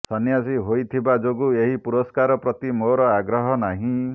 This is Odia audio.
ସନ୍ୟାସୀ ହୋଇଯାଇଥିବା ଯୋଗୁଁ ଏହି ପୁରସ୍କାର ପ୍ରତି ମୋର ଆଗ୍ରହ ନାହିଁ